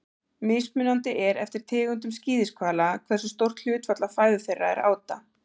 mismunandi er eftir tegundum skíðishvala hversu stórt hlutfall af fæðu þeirra er áta